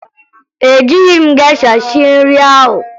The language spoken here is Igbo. Ejighi m gesha sie nri ahụ